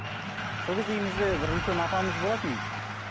сол кезде үйімізде бір үлкен апамыз болатын